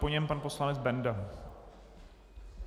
Po něm pan poslanec Benda.